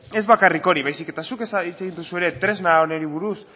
ez bakarrik hori baizik eta zuk hitz egin duzu ere tresna honi buruz